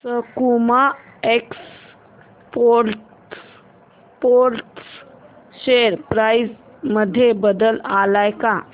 सकुमा exports share price मध्ये बदल आलाय का